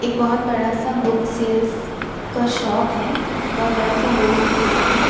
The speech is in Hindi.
एक बहोत बड़ा सा बुक सेल्स का शॉप है। बहोत बड़ा सा व्होल सेल्स का --